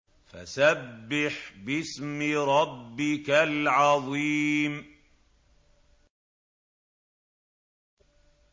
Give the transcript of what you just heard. فَسَبِّحْ بِاسْمِ رَبِّكَ الْعَظِيمِ